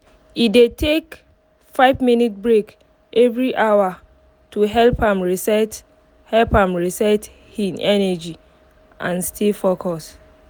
e dey take five minutes break every hour to help am reset help am reset hin energy and stay focus